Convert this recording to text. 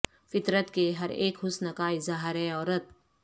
فطرت کے ہر اک حسن کا اظہار ہے عورت